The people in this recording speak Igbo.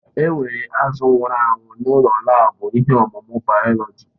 Enwere azụ̀ nwụrụ anwụ n'ụlọ laabu ihe ọmụmụ bayoloji.